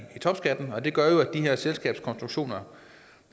topskatten og det gør jo at de her selskabskonstruktioner